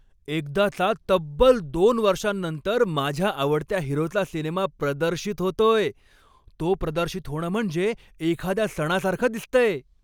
एकदाचा तब्बल दोन वर्षांनंतर माझ्या आवडत्या हिरोचा सिनेमा प्रदर्शित होतोय, तो प्रदर्शित होणं म्हणजे एखाद्या सणासारखं दिसतंय.